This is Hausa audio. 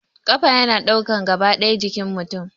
Kafa yana ɗaukan gaba ɗaya jikin mutum